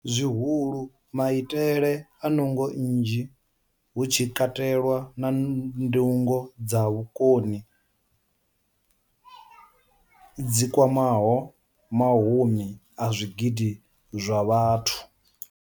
Zwihulu, maitele a nungo nnzhi, hu tshi katelwa na ndingo dza vhukoni dzi kwamaho mahumi a zwigidi zwa vhathu.